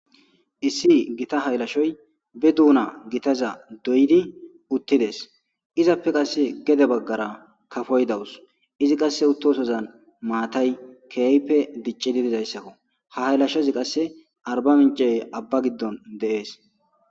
Issi Gita hayilashshoyi bee duna gitazza doyiddi uttides .izzappe qase gede bagara kaafoyi dawussi izzi qase uttosozanni matayi kehippe dicciddi dizayissakko .haa hayilashshozzi qase arbamincce abaa giddonni de'ess.